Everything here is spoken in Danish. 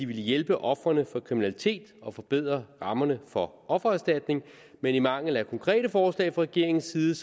ville hjælpe ofrene for kriminalitet og forbedre rammerne for offererstatning men i mangel af konkrete forslag fra regeringens side